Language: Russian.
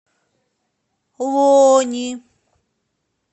лони